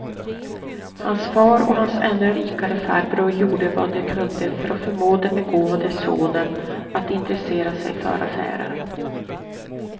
Hans far och hans ännu rikare farbror gjorde vad de kunde för att förmå den begåvade sonen att intressera sig för affärer.